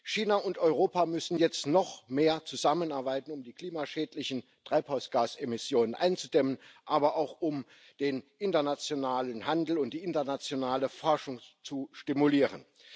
China und Europa müssen jetzt noch mehr zusammenarbeiten, um die klimaschädlichen Treibhausgasemissionen einzudämmen, aber auch, um den internationalen Handel und die internationale Forschung zu stimulieren.